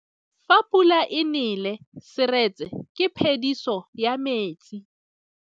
Fa pula e nelê serêtsê ke phêdisô ya metsi.